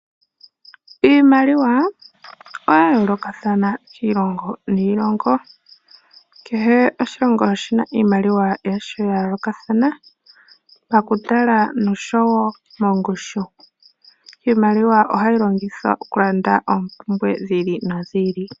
Iimaliwa oya yoolokathana kiilonga niilongo kehe oshilongo oshina iimaliwa yasho yayolokathana pakutala nosho woo mongushu. Iimaliwa ohayi longithwa okulanda oompumbwe dhi ili nodhi ili.